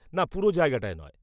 -না পুরো জায়গাটায় নয়।